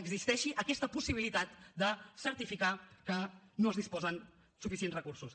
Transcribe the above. existeixi aquesta possibilitat de certificar que no es disposa de suficients recursos